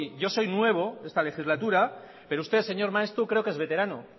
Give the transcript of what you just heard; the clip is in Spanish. yo soy nuevo en esta legislatura pero usted señor maeztu creo que es veterano